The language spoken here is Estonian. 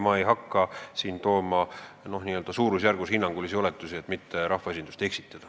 Ma ei hakka siin hinnangulisi oletusi tegema, ei taha rahvaesindust eksitada.